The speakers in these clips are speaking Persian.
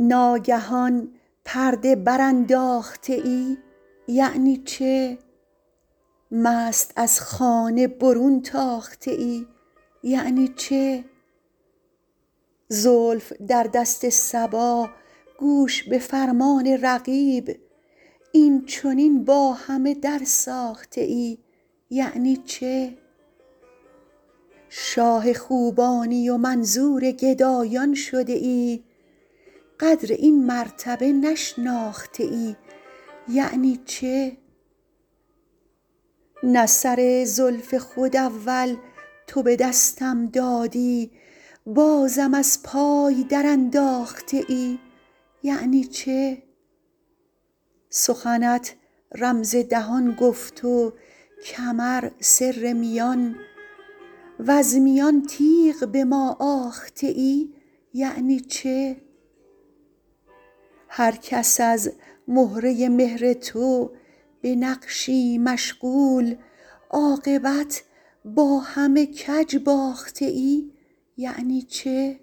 ناگهان پرده برانداخته ای یعنی چه مست از خانه برون تاخته ای یعنی چه زلف در دست صبا گوش به فرمان رقیب این چنین با همه درساخته ای یعنی چه شاه خوبانی و منظور گدایان شده ای قدر این مرتبه نشناخته ای یعنی چه نه سر زلف خود اول تو به دستم دادی بازم از پای درانداخته ای یعنی چه سخنت رمز دهان گفت و کمر سر میان وز میان تیغ به ما آخته ای یعنی چه هر کس از مهره مهر تو به نقشی مشغول عاقبت با همه کج باخته ای یعنی چه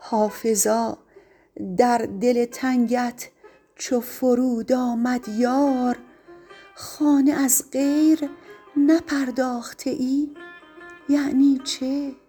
حافظا در دل تنگت چو فرود آمد یار خانه از غیر نپرداخته ای یعنی چه